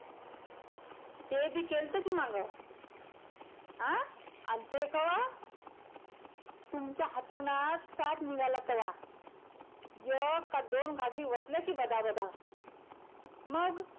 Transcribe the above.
ते बी केलंत कि माग अं आन ते कवा तुमच्या अंथरुणात साप निघाला तेव्हा एक काय दोन घाघरी ओतल्या कि बदाबदा मग,